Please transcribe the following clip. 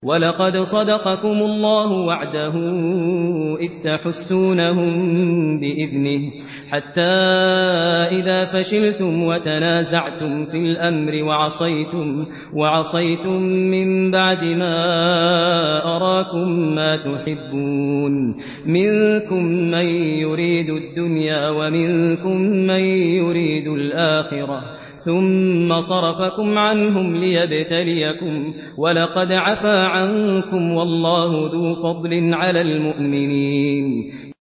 وَلَقَدْ صَدَقَكُمُ اللَّهُ وَعْدَهُ إِذْ تَحُسُّونَهُم بِإِذْنِهِ ۖ حَتَّىٰ إِذَا فَشِلْتُمْ وَتَنَازَعْتُمْ فِي الْأَمْرِ وَعَصَيْتُم مِّن بَعْدِ مَا أَرَاكُم مَّا تُحِبُّونَ ۚ مِنكُم مَّن يُرِيدُ الدُّنْيَا وَمِنكُم مَّن يُرِيدُ الْآخِرَةَ ۚ ثُمَّ صَرَفَكُمْ عَنْهُمْ لِيَبْتَلِيَكُمْ ۖ وَلَقَدْ عَفَا عَنكُمْ ۗ وَاللَّهُ ذُو فَضْلٍ عَلَى الْمُؤْمِنِينَ